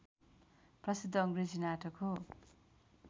प्रसिद्ध अङ्ग्रेजी नाटक हो